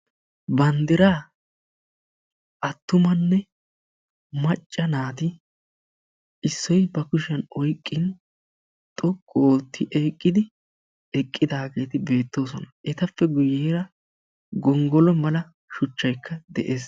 Banddira attumanne macca naati issoy ba kushiyaan oyqqin xoqqu oottidi eqqidaageeti beettoosona. Etappe guyyeera gonggolo mala shuchchaykka de'ees.